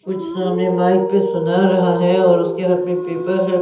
कुछ सामने माइक पे सुना रहा है और उसके हाथ में पेपर है ।